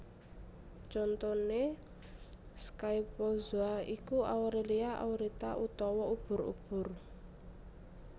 Contoné Scyphozoa iku Aurelia Aurita utawa ubur ubur